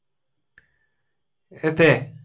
এটাতে